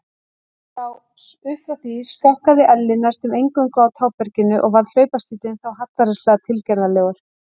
Upp frá því skokkaði Elli næstum eingöngu á táberginu og varð hlaupastíllinn þá hallærislega tilgerðarlegur.